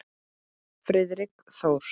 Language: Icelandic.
Friðrik Þór.